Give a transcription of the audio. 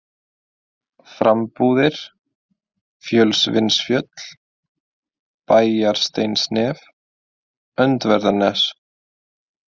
Frambúðir, Fjölsvinnsfjöll, Bæjarsteinsnef, Öndverðarnes